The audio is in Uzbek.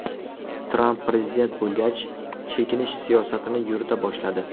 Tramp prezident bo‘lgach, chekinish siyosatini yurita boshladi.